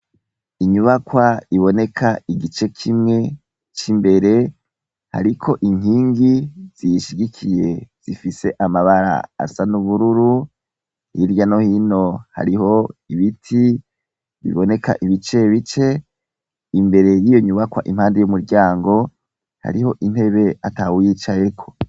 Inyubakwa iboneka igice kimwe imbere Ariko ninkingi ziyishigikiye zifise amabara asa nubururu hirya no hino hariho ibiti biboneka ibice bibe imbere hariho intebe atawuyicayeko.